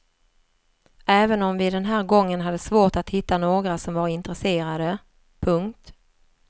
Även om vi den här gången hade svårt att hitta några som var intresserade. punkt